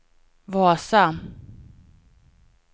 Vasa